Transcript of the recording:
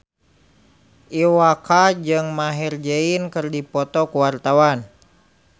Iwa K jeung Maher Zein keur dipoto ku wartawan